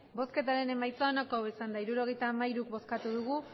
emandako botoak hirurogeita hamairu bai